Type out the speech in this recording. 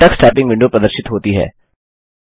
Tux typing window प्रदर्शित होती है